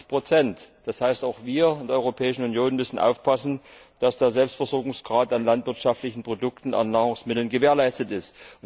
88 Das heißt, auch wir in der Europäischen Union müssen aufpassen, dass der Selbstversorgungsgrad an landwirtschaftlichen Produkten und Nahrungsmitteln gewährleistet ist.